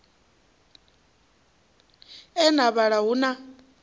e na vhala hu na